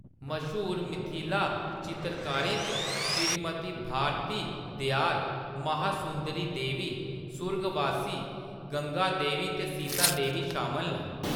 मश्हूर मिथिला चित्रकारें च श्रीमती भारती दयाल, महासुंदरी देवी, सुर्गबासी गंगा देवी ते सीता देवी शामल न।